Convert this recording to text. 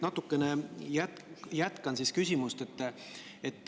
Ma tegelikult jätkan küsimust.